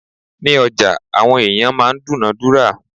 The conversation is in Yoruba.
Ní ọjà, àwọn ẹ̀yàn máa ń dúǹádúrà.